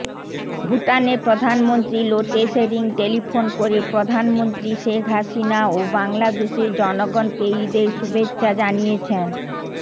ভুটানের প্রধানমন্ত্রী লোটে শেরিং টেলিফোন করে প্রধানমন্ত্রী শেখ হাসিনা ও বাংলাদেশের জনগণকে ঈদের শুভেচ্ছা জানিয়েছেন